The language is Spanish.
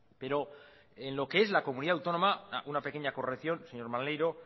pero en lo que es la comunidad autónoma una pequeña corrección señor maneiro